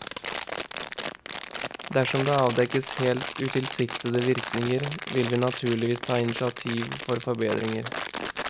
Dersom det avdekkes helt utilsiktede virkninger, vil vi naturligvis ta initiativ for forbedringer.